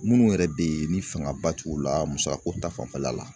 Minnu yɛrɛ bɛ yen ni fangaba t'u la musako ta fanfɛla la